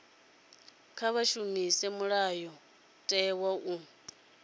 kha vha shumise mulayotewa u